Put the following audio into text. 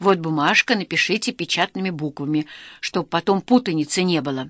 вот бумажка напишите печатными буквами чтобы потом путаницы не было